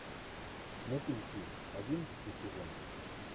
мотыльки одиннадцатый сезон